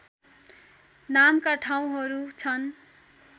नामका ठाउँहरू छन्